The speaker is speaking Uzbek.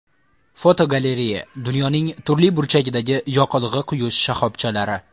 Fotogalereya: Dunyoning turli burchagidagi yoqilg‘i quyish shoxobchalari.